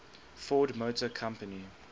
ford motor company